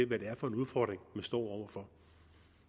hvad det er for en udfordring man står for